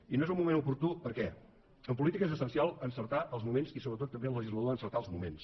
i no és un moment oportú per què en política és essencial encertar els moments i sobretot també el legislador ha d’encertar els moments